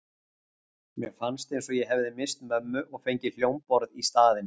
Mér fannst eins og ég hefði misst mömmu og fengið hljómborð í staðinn.